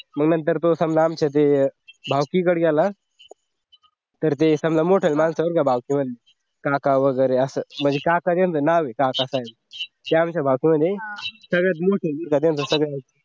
मग नंतर तो समदा देय आमच्या भावकीकडं गेला तर ते समजा मोठं देहावर या भावकीवर काका वगैरे असं म्हणजे त्यांचं नाव आहे काकासाहेब ते आमच्या भावकीमध्ये सगळ्यात मोठे म्हणजे सगळ्या म्हाताऱ्यात